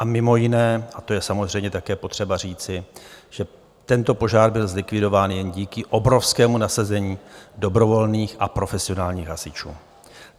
A mimo jiné, a to je samozřejmě také potřeba říci, že tento požár byl zlikvidován jen díky obrovskému nasazení dobrovolných a profesionálních hasičů.